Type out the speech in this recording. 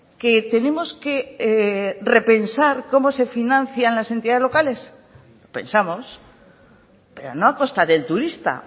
que tenemos que repensar cómo se financian las entidades locales pensamos pero no a costa del turista